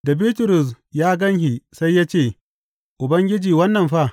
Da Bitrus ya gan shi sai ya ce, Ubangiji, wannan fa?